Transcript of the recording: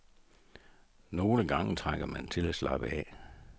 Nogle gange trænger man til at slappe af.